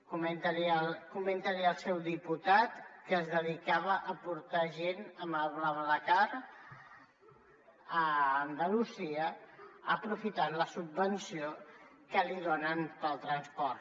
comenti l’hi al seu diputat que es dedicava a portar gent amb el blablacar a andalusia aprofitant la subvenció que li donen pel transport